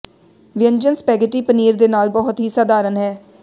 ਵਿਅੰਜਨ ਸਪੈਘੇਟੀ ਪਨੀਰ ਦੇ ਨਾਲ ਬਹੁਤ ਹੀ ਸਧਾਰਨ ਹੈ